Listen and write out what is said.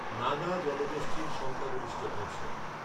নাগা, জনগোষ্ঠীর সংখ্যাগরিষ্ঠ অংশ।